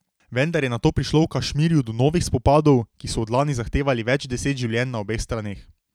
Vendar je nato prišlo v Kašmirju do novih spopadov, ki so od lani zahtevali več deset življenj na obeh straneh.